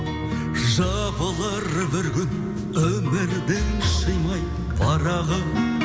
жабылар бір күн өмірдің шимай парағы